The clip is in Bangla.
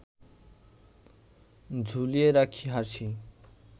ঝুলিয়ে রাখি হাসি